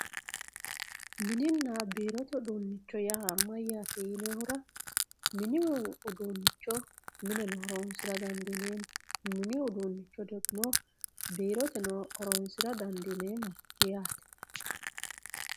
Mininna biirote uduunicho yaa mayyate yinoonihura mini uduuncho mine horonsira dandiineemmo mini uduuncho degimo biiroteno horonsira dandiineemmo yaate.